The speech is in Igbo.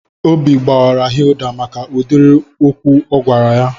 Obi gbaara Hilda maka udiri okwu o gwara ya